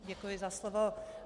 Děkuji za slovo.